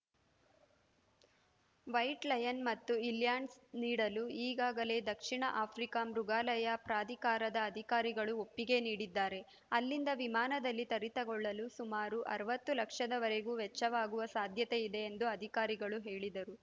white lion ಮತ್ತು ಇಲ್ಯಾಂಡ್ಸ್‌ನೀಡಲು ಈಗಾಗಲೇ ದಕ್ಷಿಣ ಆಫ್ರಿಕಾದ ಮೃಗಾಲಯ ಪ್ರಾಧಿಕಾರದ ಅಧಿಕಾರಿಗಳು ಒಪ್ಪಿಗೆ ನೀಡಿದ್ದಾರೆ ಅಲ್ಲಿಂದ ವಿಮಾನದಲ್ಲಿ ತರಿತಕೊಳ್ಳಲು ಸುಮಾರು ಅರವತ್ತು ಲಕ್ಷದವರೆಗೂ ವೆಚ್ಚವಾಗುವ ಸಾಧ್ಯತೆಯಿದೆ ಎಂದು ಅಧಿಕಾರಿಗಳು ಹೇಳಿದರು